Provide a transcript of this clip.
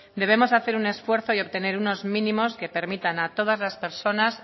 debemos hacer un esfuerzo y obtener unos mínimos que permitan a todas las personas